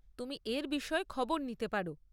তুমি এর বিষয়ে খবর নিতে পার।